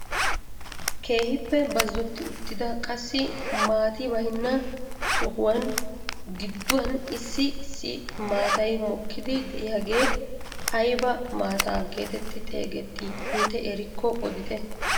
Keehippe bazzotti uttidane qassi maati baynna sohuwaan gidduwaan issi issi maatay mokkiidi de'iyaagee ayba maata getetti xeegettii intte erikko odite?